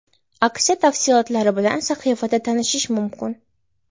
Aksiya tafsilotlari bilan sahifasida tanishish mumkin.